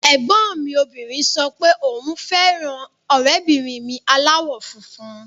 Ẹ̀gbọ́n mi obìnrin sọ pé òun fẹ́ràn ọ̀rẹ́bìnrin mi aláwọ̀ funfun